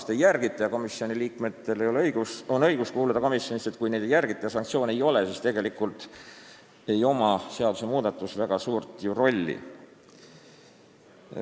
Kui ei järgita proportsionaalsust ega seda, et volikogu liikmel on õigus kuuluda komisjoni, aga sanktsioone ei ole, siis tegelikult ei ole seadusmuudatusel ju väga suurt rolli.